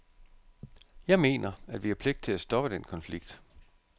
Jeg mener, at vi har pligt til at stoppe den konflikt.